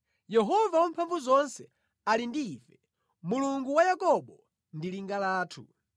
Yehova Wamphamvuzonse ali ndi ife, Mulungu wa Yakobo ndi linga lathu.